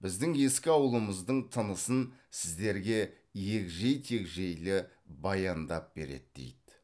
біздің ескі ауылымыздың тынысын сіздерге егжей тегжейлі баяндап береді дейді